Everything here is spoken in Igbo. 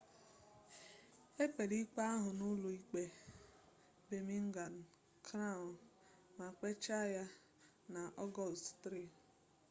e kpere ikpe ahụ n'ụlọ ikpe birmingham crown ma kpechaa ya na ọgọst 3